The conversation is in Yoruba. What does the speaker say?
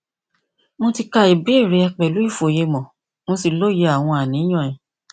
mo ti ka ìbéèrè rẹ pẹlú ìfòyemò mo sì lóye àwọn àníyàn rẹ